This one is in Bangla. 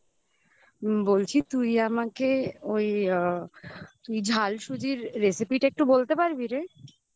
বলছি তুই আমাকে ওই অ্যা তুই ঝাল সুজির recipe টা একটু বলতে পারবি রে